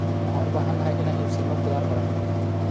Waxaan u baahanahay inaan iibsano khudaar badan.